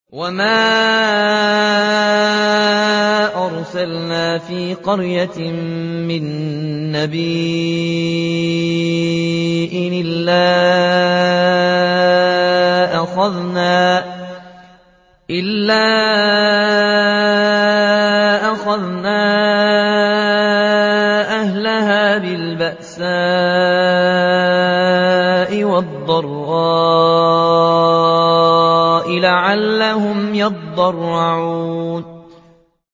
وَمَا أَرْسَلْنَا فِي قَرْيَةٍ مِّن نَّبِيٍّ إِلَّا أَخَذْنَا أَهْلَهَا بِالْبَأْسَاءِ وَالضَّرَّاءِ لَعَلَّهُمْ يَضَّرَّعُونَ